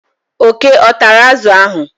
oke ọ tara azụ ahụ?